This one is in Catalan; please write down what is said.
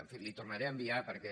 en fi li ho tornaré a enviar perquè